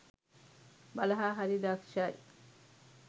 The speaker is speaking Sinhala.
වලහා හරි දක්‍ෂයි.